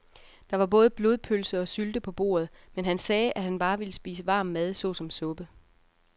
Der var både blodpølse og sylte på bordet, men han sagde, at han bare ville spise varm mad såsom suppe.